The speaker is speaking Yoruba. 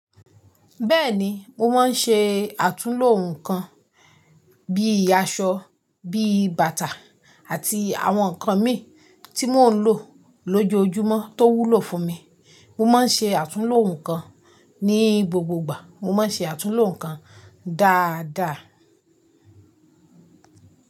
Bẹ́ẹ̀ni, mo máa ń ṣe àtúnlo nǹkan bí i aṣọ, bí i bàtà àti àwọn nǹkan mi tí mò ń lò lójoojúmọ́ tó wúlò fún mi. Mo máa ń ṣe àtúnlo nǹkan ní gbogbogbà. Mo máa ń ṣe àtúnlo nǹkan dáadáa.